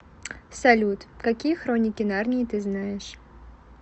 салют какие хроники нарнии ты знаешь